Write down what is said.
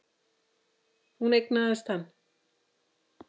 Hún eignaðist hann.